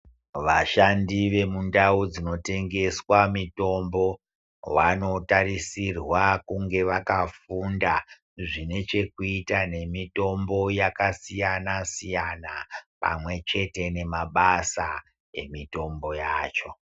Vashandi vemundau dzinotengeswa mitombo vanotarisirwa kunge vakafunda zvinechekuita nemitombo yakasiyana siyana pamwe chete nemabasa emitombo yacho.